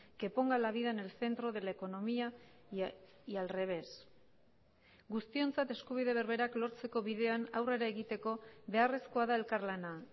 que ponga la vida en el centro de la economía y al revés guztiontzat eskubide berberak lortzeko bidean aurrera egiteko beharrezkoa da elkarlana